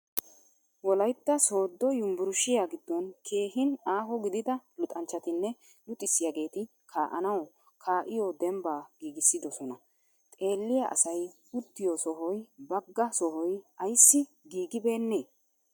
Wolaytta sooddo yumburshiya giddon keehin aaho gidida luxanchchatinne luxxisiyaageeti kaa'anawu kaa'iyo dembba giigissidosona. Xeelliya asay uttiyo sohoy bagga sohoy ayissi giigibeennee?